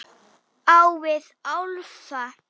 Á vit álfa.